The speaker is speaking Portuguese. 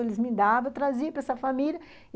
Eles me davam, eu trazia para essa família.